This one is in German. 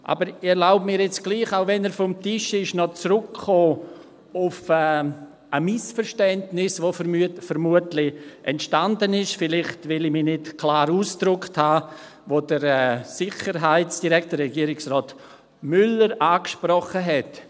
Ich erlaube mir jetzt doch – auch wenn er vom Tisch ist –, noch zurückzukommen auf ein Missverständnis, das vermutlich entstanden ist, weil ich mich vielleicht nicht klar ausgedrückt habe, und das der Sicherheitsdirektor, Regierungsrat Müller, angesprochen hat: